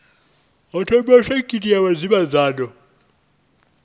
ho thomiwa sekitha ya vhudavhidzano